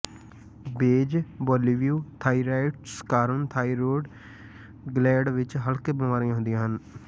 ਬੇਜ਼ਬੋੋਲੋਵਯ thyroiditis ਕਾਰਨ thyroid gland ਵਿੱਚ ਹਲਕੇ ਬਿਮਾਰੀਆਂ ਹੁੰਦੀਆਂ ਹਨ